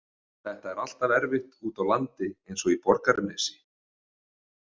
Þetta er alltaf erfitt úti á landi eins og í Borgarnesi.